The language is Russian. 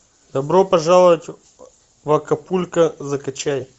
добро пожаловать в акапулько закачай